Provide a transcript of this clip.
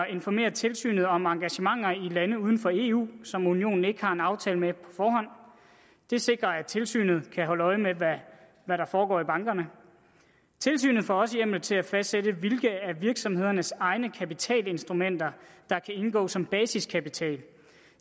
informere tilsynet om engagementer i lande uden for eu som unionen ikke har en aftale med det sikrer at tilsynet kan holde øje med hvad der foregår i bankerne tilsynet får også hjemmel til at fastsætte hvilke af virksomhedernes egne kapitalinstrumenter der kan indgå som basiskapital